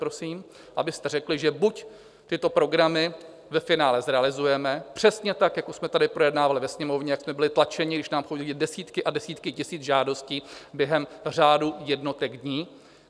Prosím, abyste řekli, že buď tyto programy ve finále zrealizuje přesně tak, jako jsme tady projednávali ve Sněmovně, jak jsme byli tlačeni, když nám chodily desítky a desítky tisíc žádostí během řádu jednotek dní.